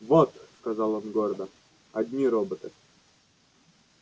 вот сказал он гордо одни роботы